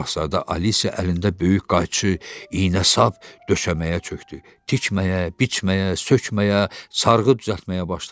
Şahzadə Alise əlində böyük qayçı, iynə-sap döşəməyə çökdü, tikməyə, biçməyə, sökməyə, sarğı düzəltməyə başladı.